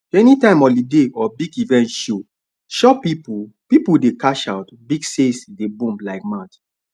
anytime holiday or big event show shop people people dey cash out big sales dey boom like mad